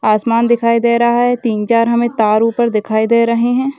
आसमान दिखाई दे रहा है तीन चार तार हमे ऊपर दिखाई दे रहे है।